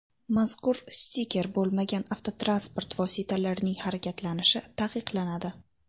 Mazkur stiker bo‘lmagan avtotransport vositalarining harakatlanishi taqiqlanadi.